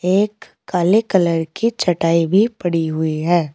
एक काले कलर की चटाई भी पड़ी हुई है।